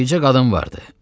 Bircə qadın vardı.